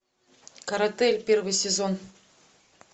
каратэ первый сезон